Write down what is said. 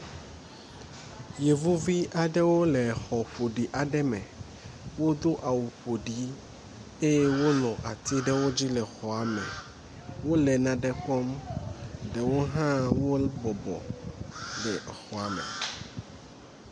Yevuvi aɖewo le xɔ ƒoɖi aɖe me. Wodo awu ƒoɖi eye wonɔ atsi aɖewo dzi le xɔa me. Wo le nane kɔm ɖewo hã wo bɔbɔ ɖe exɔa me.